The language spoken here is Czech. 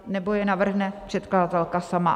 Nebo je navrhne předkladatelka sama.